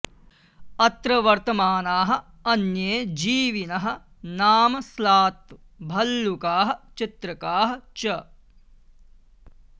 अत्र वर्तमानाः अन्ये जीविनः नाम स्लात् भल्लूकाः चित्रकाः च